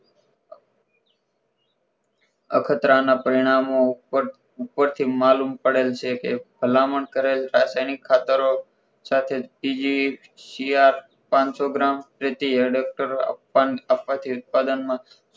અખતરા ના પરિણામો ઉપરથી માલુમ પડેલ છે કે ભલામણ કરેલ રાજધાની ખાતરો સાથે ત્રીજી સીઆર પાનસોગ્રામ પેટી એડેપ્ટર